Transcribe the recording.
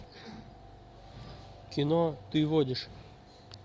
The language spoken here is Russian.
кино ты водишь